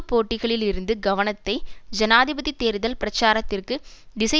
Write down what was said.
போட்டிகளிலிருந்து கவனத்தை ஜனாதிபதி தேர்தல் பிரச்சாரத்திற்கு திசை